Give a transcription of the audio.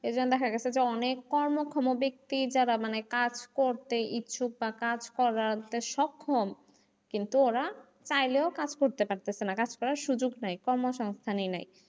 সেখানে দেখা গেছে যে অনেক কর্মক্ষম বেক্তি যারা কাজ করতে ইচ্ছুক বা কাজ করাতে সক্ষম কিন্তু ওরা চাইলেও কাজ করতে পারতেছে না কাজ করার সুযোগ নেই কর্মসংস্থানি নাই।